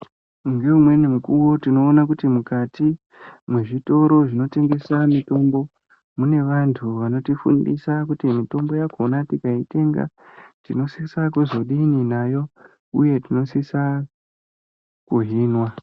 Ngeumweni mukuwo tinoona kuti mukati mezvitoro zvinotengesa mitombo mune vantu vakanotifundisa mitombo yakona tikaitenga tinosisa kuzodini nayo uye tinosisa kuzohinwa.